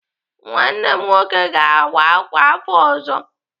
Nwanne m nwoke ga-awa ákwà afọ ọzọ.